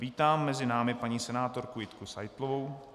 Vítám mezi námi paní senátorku Jitku Seitlovou.